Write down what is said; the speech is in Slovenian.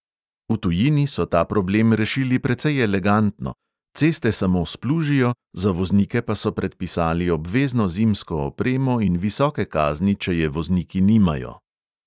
V tujini so ta problem rešili precej elegantno – ceste samo splužijo, za voznike pa so predpisali obvezno zimsko opremo in visoke kazni, če je vozniki nimajo.